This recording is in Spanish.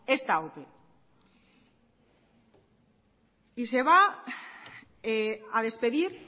esta ope y se va adespedir